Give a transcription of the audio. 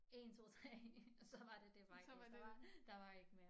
1 2 3 og så var det dét var gates der var der var ik mere